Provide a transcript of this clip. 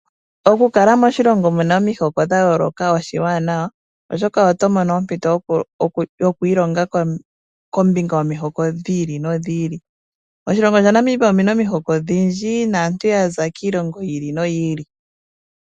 Okukala moshilongo mu na omihoko dha yooloka oshiwanawa, oshoka oto mono ompito yo ku ilonga kombinga yomihoko dhi ili nodhi ili. Moshilongo shetu Namibia omu na omihoko odhindji naantu ya za kiilongo yi ili noyi ili.